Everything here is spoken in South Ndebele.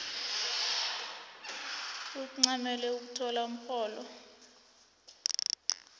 ancamele ukuthola umrholo